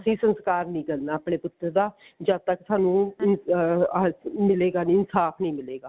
ਅਸੀਂ ਸੰਸਕਾਰ ਨਹੀਂ ਕਰਨਾ ਆਪਣੇ ਪੁੱਤਰ ਦਾ ਜਦ ਤੱਕ ਸਾਨੂੰ ਅਹ ਮਿਲੇਗਾ ਨੀ ਇਨਸਾਫ਼ ਨੀ ਮਿਲੇਗਾ